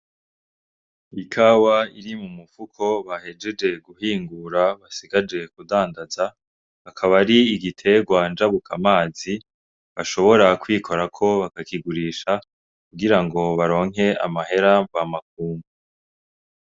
Ikawa iri mu mufuko bahejeje guhingura basigaje kudandaza, akaba ari igiterwa njabukamazi bashobora kwikorako bakakigurisha kugira ngo baronke amahera nvamakungu.